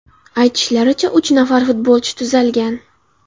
Aytishlaricha, uch nafar futbolchi tuzalgan.